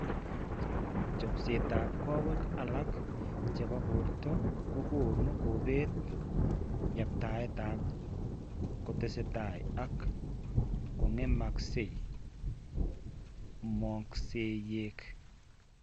Chopsetap koweek alak che po borto kokonu kebeet yaabtaetap ke kotesetai ak kong'emakse moonkoosyek.